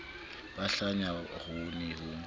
ba hlanya ho ne ho